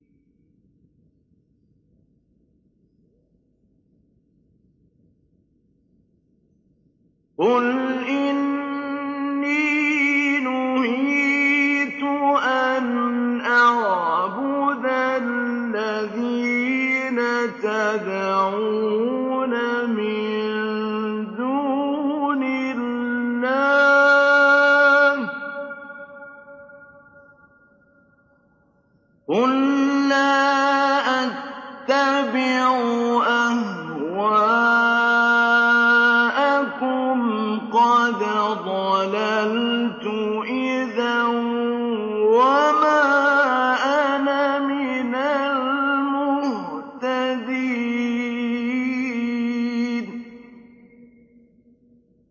قُلْ إِنِّي نُهِيتُ أَنْ أَعْبُدَ الَّذِينَ تَدْعُونَ مِن دُونِ اللَّهِ ۚ قُل لَّا أَتَّبِعُ أَهْوَاءَكُمْ ۙ قَدْ ضَلَلْتُ إِذًا وَمَا أَنَا مِنَ الْمُهْتَدِينَ